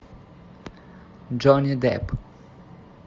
джонни депп